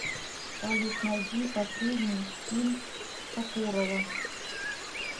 салют найди последний фильм сокурова